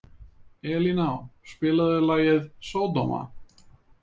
Elíná, spilaðu lagið „Sódóma“.